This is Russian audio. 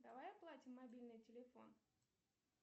давай оплатим мобильный телефон